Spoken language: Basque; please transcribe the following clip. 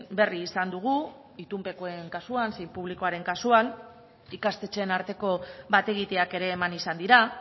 berri izan dugu itunpekoen kasuan zein publikoaren kasuan ikastetxeen arteko bat egiteak ere eman izan dira